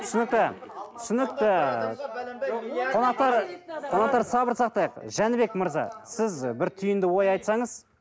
түсінікті түсінікті қонақтар қонақтар сабыр сақтайық жәнібек мырза сіз бір түйінді ой айтсаңыз